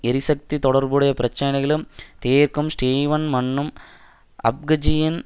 எரிசக்தி தொடர்புடைய பிரச்சினைகளும் தீர்க்கும் ஸ்டீவன் மன்னும் அப்கஜியன்